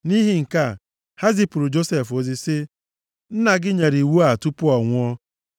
Nʼihi nke a, ha zipụrụ Josef ozi sị, “Nna gị nyere iwu a tupu ọ nwụọ.